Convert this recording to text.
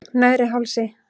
Neðri Hálsi